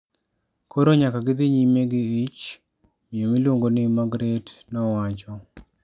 Koro nyaka gidhi nyime gi ich, " Miyo miluongo ni Magret nowacho.